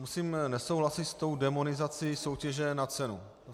Musím nesouhlasit s tou démonizací soutěže na cenu.